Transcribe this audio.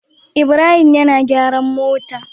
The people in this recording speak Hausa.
Ibrahim yAna gyaran mota